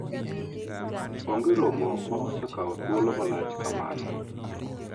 onge romo ma osekawo thuolo malach kaka mano